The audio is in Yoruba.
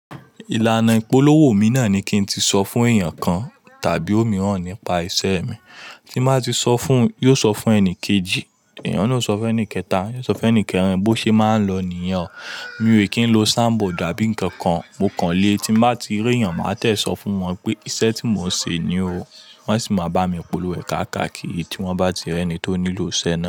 Ìlànà ìpolówó mi náà ni kí n tíì sọ fún èèyàn kan tàbí òmíràn nípa iṣẹ́ mi. Tí mo bá ti sọ fún un, yóò sọ fún ẹni kejì, èèyàn náà sọ fún ẹni kẹta, yóò sọ fún ẹni kẹrin. Bo ṣe máa ń lọ nìyẹn o. Mi ò kí n lo signboard àbí ǹkankan mo kàn lé. Tí mo bá ti rí èyàn, màá jẹ̀ sọ fún wọn pé iṣẹ́ tí mò ń ṣe ni o. Wọn sì máa bá mi polówó rẹ̀ káàkiri tí wọ́n bá ti rí ẹni tó nílò iṣẹ́ náà.